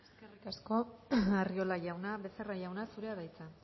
eskerrik asko arriola jauna becerra jauna zurea da hitza